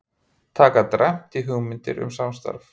Taka dræmt í hugmyndir um samstarf